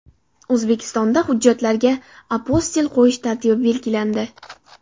O‘zbekistonda hujjatlarga apostil qo‘yish tartibi belgilandi.